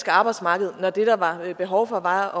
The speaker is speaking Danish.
arbejdsmarked når det der var behov for var